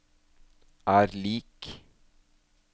er lik